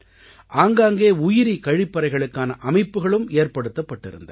ஆங்காங்கே உயிரி கழிப்பறைகளுக்கான அமைப்புகளும் ஏற்படுத்தப்பட்டிருந்தன